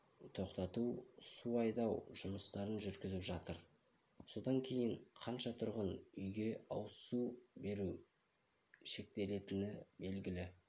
тоқтату су айдау жұмыстарын жүргізіп жатыр содан кейін қанша тұрғын үйге ауызсу беру шектелетіні белгілі